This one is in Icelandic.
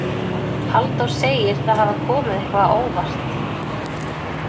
Halldór segir það hafa komið eitthvað á óvart.